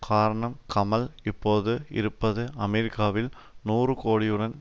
காரணம் கமல் இப்போது இருப்பது அமெரிக்காவில் நூறு கோடியுடன்